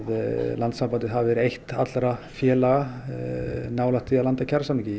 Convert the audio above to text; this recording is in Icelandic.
landssambandið hafi verið eitt allra félaga nálægt því að landa kjarasamningi